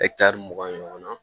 mugan ɲɔgɔn na